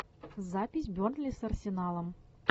запись бернли с арсеналом